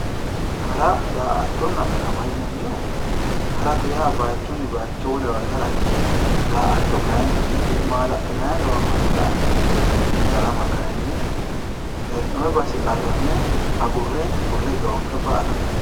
hara daa''attonna darama yinannihu hara yaa bayiichunni bayiicho wolewawe harate daa''atto kayiinni maala'linanniri noowa marre la''ate darama kayiinni hee'noonni base agurre qarramme agurre xoonqe ba''ate.